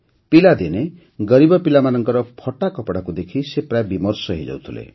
ପିଲାଦିନେ ଗରିବ ପିଲାମାନଙ୍କର ଫଟା କପଡ଼ାକୁ ଦେଖି ସେ ପ୍ରାୟ ବିମର୍ଷ ହୋଇଯାଉଥିଲେ